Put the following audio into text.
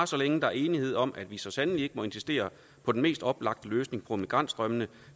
så længe der er enighed om at vi så sandelig ikke må insistere på den mest oplagte løsning på migrantstrømmene